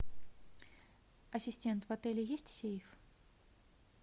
ассистент в отеле есть сейф